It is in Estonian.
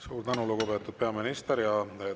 Suur tänu, lugupeetud peaminister!